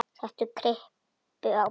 Set kryppu á bakið.